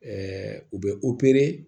u bɛ